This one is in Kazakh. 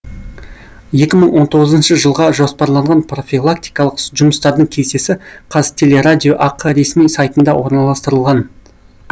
екі мың он тоғызыншы жылға жоспарланған профилактикалық жұмыстардың кестесі қазтелерадио ақ ресми сайтында орналастырылған